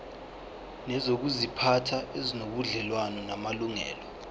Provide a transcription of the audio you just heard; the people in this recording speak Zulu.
nezokuziphatha ezinobudlelwano namalungelo